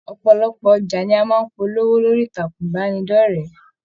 Ọpọlọpọ ọjà ní a máa n polówó lórí ìtàkùn ìbánidọ̀rẹ̀.